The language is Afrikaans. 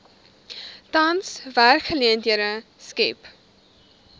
tans werksgeleenthede skep